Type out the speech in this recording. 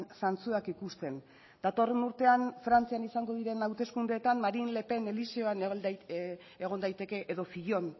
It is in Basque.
zantzuak ikusten datorren urtean frantzian izango diren hauteskundeetan marine le pen eliseoan egon daiteke edo fillon